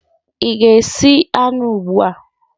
ị ga-esi anụ ugbu a?